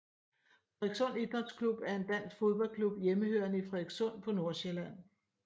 Frederikssund Idrætsklub er en dansk fodboldklub hjemmehørende i Frederikssund på Nordsjælland